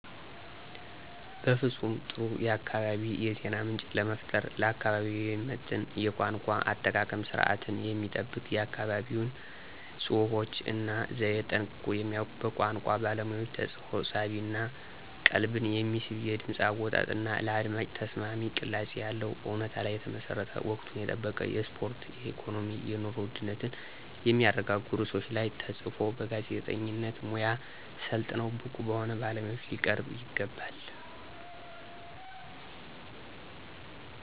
ፍፁም ጥሩ የአካባቢ የዜና ምንጭ ለመፍጠር። ለአካባቢው የሚመጥን የቋንቋ አጠቃቀም ስርዓትን የሚጠብቅ የአካባቢውን ፅሁፎች እና ዘየ ጠንቅቆ የሚያውቅ በቋንቋ ባለሙያዎች ተፅፎ ሳቢ እና ቀልብን የሚስብ የድምፅ አወጣጥ እና ለአድማጭ ተስማሚ ቅላፄ ያለው፣ እውነታ ላይ የተመሠረተ፣ ወቅቱን የጠበቁ የስፖርት፣ የኢኮኖሚ፣ የኑሮ ውድነትን የሚያረጋጉ ርዕሶች ላይ ተፅፈው በጋዜጠኝነት ሙያ ሠልጥነው ብቁ በሆኑ ባለሙያዎች ሊቀርቡ ይገባል።